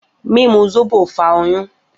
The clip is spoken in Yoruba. Mimu zobo fa oyun.